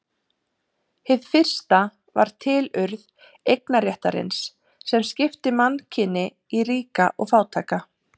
Hið fyrsta var tilurð eignarréttarins sem skipti mannkyni í ríka og fátæka.